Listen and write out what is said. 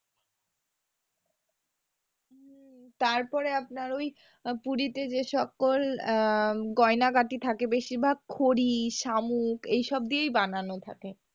তারপরে আপনার ওই পুরিতে যেসকল আহ গয়নাগাটি থাকে বেশিরভাগ কড়ি শামুক এইসব দিয়েই বানানো থাকে।